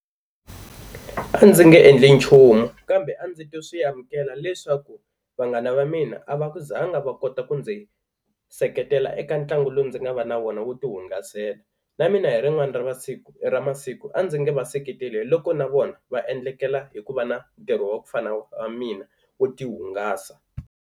A ndzi nge endli nchumu kambe a ndzi ta swi amukela leswaku vanghana va mina a va ku zanga va kota ku ndzi seketela eka ntlangu lowu ndzi nga va na wona wo ti hungasela. Na mina hi rin'wana ra va siku ra masiku a ndzi nga va seketeli loko na vona va endlekela hi ku va na ntirho wa ku fana wa mina wo ti hungasa.